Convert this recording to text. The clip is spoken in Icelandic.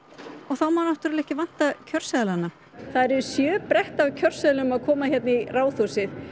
og þá má náttúrulega ekki vanta kjörseðlana það eru sjö bretti af kjörseðlum að koma hérna í Ráðhúsið